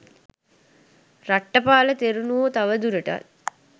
රට්ඨපාල තෙරුණුවෝ තවදුරටත්